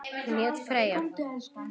Hún hét Freyja.